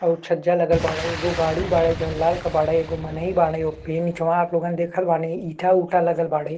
और छज्जा लगल बाड़े एगो गाड़ी बाड़े जौन लाल के बाड़े एगो मनहि बाड़े। एक पे नीचवा आप लोगन देखत बानी ईंटा-ऊंटा लगल बाड़े।